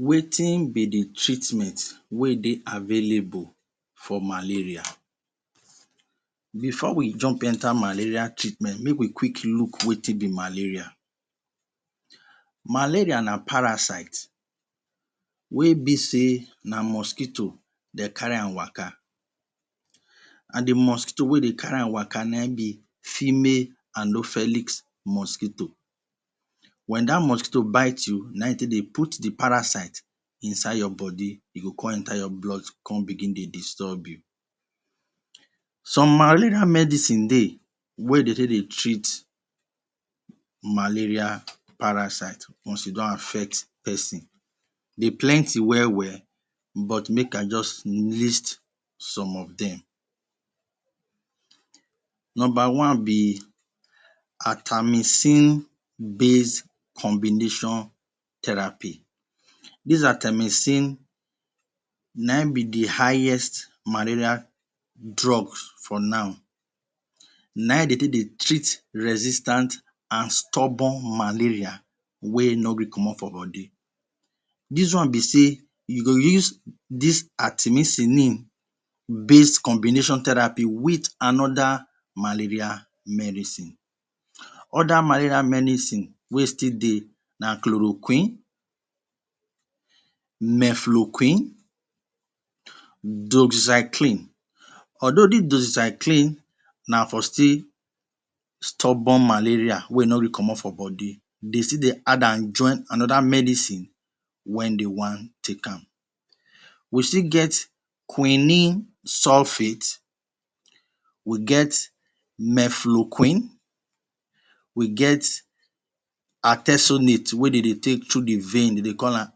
Wetin be the treatment wey dey available for malaria? Before we jump enter malaria treatment make we look wetin be malaria. Malaria na parasite wey be sey na mosquito dey carry am waka and the mosquito wey dey carry am waka na in be female mosquito, when that mosquito bite you na in e take dey put the parasite inside your body e go come enter your blood come begin dey disturb you. Some malaria medicine dey wey they take they treat malaria parasite once e don affect person, dey plenty well-well but make I just list some of dem. Number one be: atamycine base combination theraphy, this atamycine na in be the highest malaria drug for now. Na in de take they treat stand and stubborn malaria wey no gree comot for body. This one be sey you go use this atamycine base combination theraphy with another malaria medicine. Other malaria medicine wey still dey na chloroquine, mefloquine, doxycline. Although this doxycline na for still stubborn malaria wey no dey comot for body, dey still dey add am join another medicine when dey want take am. We still get quinine sulphate, we get mefloquine, we get artesunate wey dey dey take through the vein, dey dey call am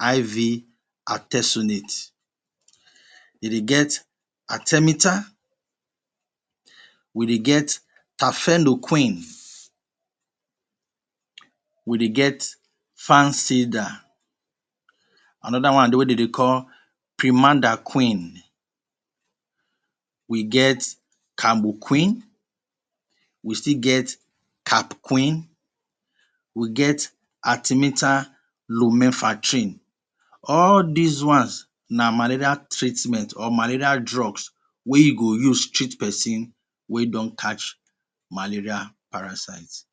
IV artesunate. dey de get artemether, we they get therfeloquine, we dey get Another one dey wey de dey call we get we still get we get All these one’s na malaria treatment or malaria drugs wey you go use treat person wey don catch malaria parasite.